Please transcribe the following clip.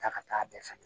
Taa ka taa bɛɛ san